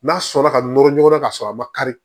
N'a sɔnna ka nɔrɔ ɲɔgɔn na ka sɔrɔ a ma kari